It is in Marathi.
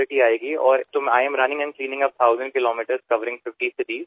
आणि म्हणूनच मी पन्नास शहरांमध्ये काही हजार किलोमीटर धावत आहे आणि तेवढे अंतर स्वच्छ करत आहे